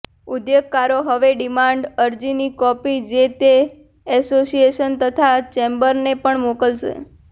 ઉદ્યોગકારો હવે ડિમાન્ડ અરજીની કોપી જે તે એસોસિયેશન તથા ચેમ્બરને પણ મોકલશે